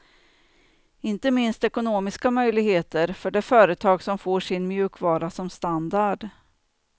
Inte minst ekonomiska möjligheter för det företag som får sin mjukvara som standard.